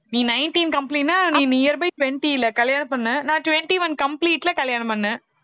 நீ nineteen complete ன்னா நீ nearby twenty ல கல்யாணம் பண்ண